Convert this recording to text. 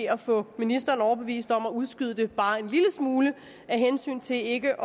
at få ministeren overbevist om at udskyde det bare en lille smule af hensyn til ikke